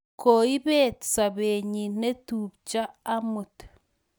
koibet sobenyi neptupcho amut